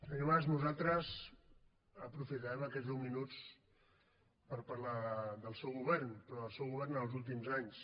senyor mas nosaltres aprofitarem aquests deu minuts per parlar del seu govern però del seu govern en els últims anys